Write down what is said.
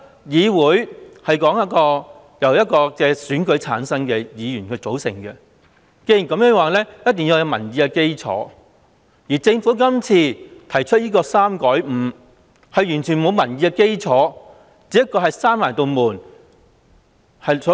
議會由選舉產生的議員組成，必須有民意的基礎，而政府提出把侍產假由3天改為5天，完全沒有民意的基礎。